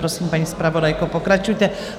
Prosím, paní zpravodajko, pokračujte.